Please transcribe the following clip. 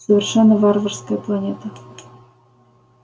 совершенно варварская планета